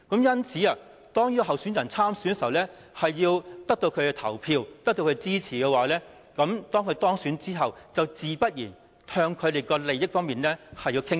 因此，特首候選人參選時，便要得到他們的投票和支持，而當選後，自然也要向他們的利益方面傾斜。